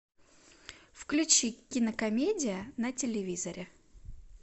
включи кинокомедия на телевизоре